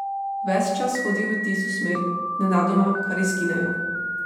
Ves čas hodijo v tisto smer in nenadoma kar izginejo.